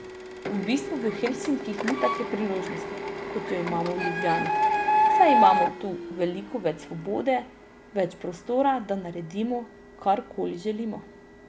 V bistvu v Helsinkih ni take priložnosti, kot jo imamo v Ljubljani, saj imamo tu veliko več svobode, več prostora, da naredimo, karkoli želimo.